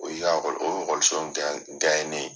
O y'i ka [cs ] o y'o ye